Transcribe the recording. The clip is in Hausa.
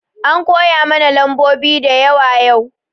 An koyamana lambobi da yawa yau